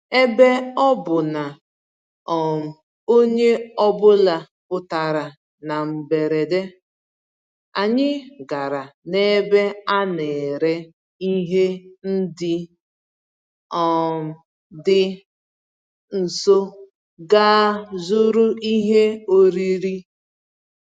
Ebe ọ bụ na um onye ọ bụla pụtara na mberede, anyị gàrà n'ebe a nere ihe ndị um dị nso gaa zụrụ ihe oriri